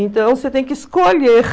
Então, você tem que escolher.